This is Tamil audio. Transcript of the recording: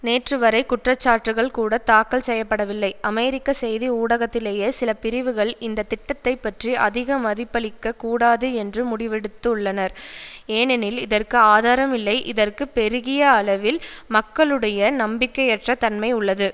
நேற்று வரை குற்றச்சாட்டுக்கள் கூட தாக்கல் செய்ய படவில்லை அமெரிக்க செய்தி ஊடகத்திலேயே சில பிரிவுகள் இந்த திட்டத்தை பற்றி அதிக மதிப்பளிக்க கூடாது என்று முடிவெடுத்துள்ளனர் ஏனெனில் இதற்கு ஆதாரம் இல்லை இதற்கு பெருகியளவில் மக்களுடைய நம்பிக்கையற்ற தன்மை உள்ளது